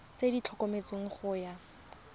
tse di tlhomilweng go ya